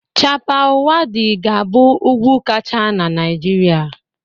Chappal Waddi ga-abụ ugwu kachasi na Naịjirịa